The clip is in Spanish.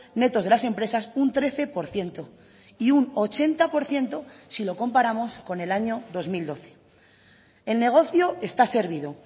netos de las empresas un trece por ciento y un ochenta por ciento si lo comparamos con el año dos mil doce el negocio está servido